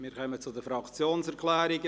Wir kommen zu den Fraktionserklärungen;